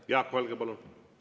Jaak Valge, palun!